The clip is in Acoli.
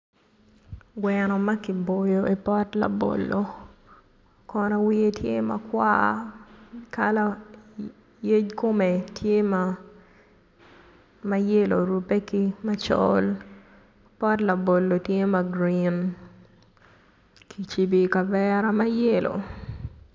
Gweno maki boyo ipot labolo Kono wiye tye ma kwar kala yec kume tye ma yelo orube ki macol pot labolo tye ma gurin ki jibi i kavera ma yelo